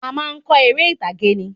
A máa kọ eré ìtàgé ni